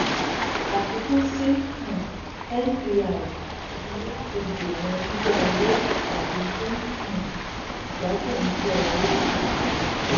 àfikún sí um mpr ni láti dènà yíyá owó tàbí dín um ìgbádùn yíyá owó kù